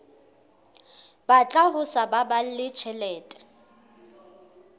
batla ho sa baballe tjhelete